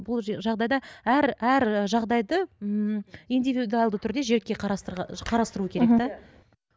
бұл жағдайда әр әр жағдайды ммм индивидуалды түрде жеке қарастыру керек те мхм